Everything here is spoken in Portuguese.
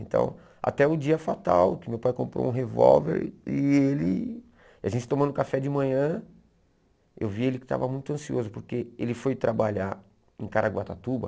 Então, até o dia fatal, que meu pai comprou um revólver e ele... A gente tomando café de manhã, eu vi ele que estava muito ansioso, porque ele foi trabalhar em Caraguatatuba,